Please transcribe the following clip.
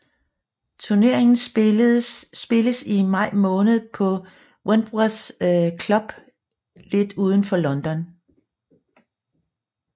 Turneringen spilles i maj måned på Wentworth Club lidt uden for London